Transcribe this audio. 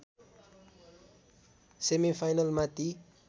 सेमिफाइनलमा ती